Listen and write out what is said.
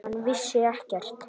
Hann vissi ekkert.